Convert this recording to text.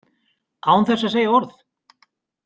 Án þess að segja orð.